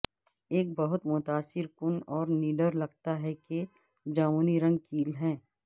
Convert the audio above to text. ایک بہت متاثر کن اور نڈر لگتا ہے کہ جامنی رنگ کیل ہے